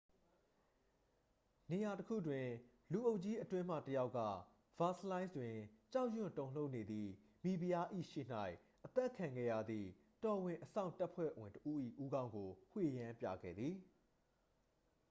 နေရာတစ်ခုတွင် လူအုပ်ကြီးအတွင်းမှ တစ်ယောက်က ဗာစလိုင်းစ် တွင် ကြောက်ရွံ့တုန်လှုပ်နေသည့် မိဖုရား၏ ရှေ့၌ အသတ်ခံခဲ့ရသည့် တော်ဝင်အစောင့်တပ်ဖွဲ့ဝင်တစ်ဦး၏ ဦးခေါင်းကို ဝှေ့ယမ်းပြခဲ့သည်